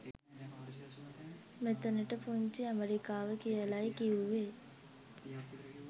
මෙතනට පුංචි ඇමරිකාව කියලයි කිව්වේ